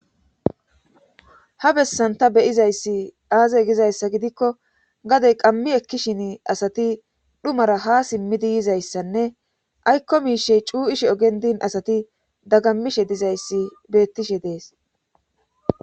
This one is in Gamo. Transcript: Ha bessanta beyizayssi aaze gizayssa gidikko gadey qammi ekkishin asati dhumara ha simmidi yizayssanne aykko miishey cuu'ishe ogendin asati daggammishe dizayssi beettishe dees.